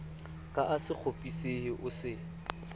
ka a sekgopisehe o se